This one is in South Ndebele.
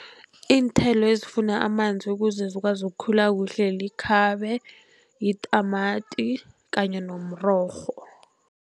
Iinthelo ezifuna amanzi ukuze zikwazi ukukhula kuhle likhabe, yitamati kanye nomrorho.